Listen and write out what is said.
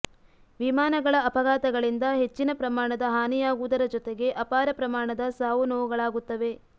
ವಿಮಾನಗಳ ಅಪಘಾತಗಳಿಂದ ಹೆಚ್ಚಿನ ಪ್ರಮಾಣದ ಹಾನಿಯಾಗುವುದರ ಜೊತೆಗೆ ಅಪಾರ ಪ್ರಮಾಣದ ಸಾವು ನೋವುಗಳಾಗುತ್ತವೆ